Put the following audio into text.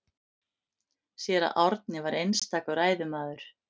Séra Árni var einstakur ræðumaður.